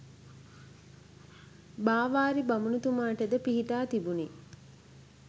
බාවාරි බමුණුතුමාට ද පිහිටා තිබුණි.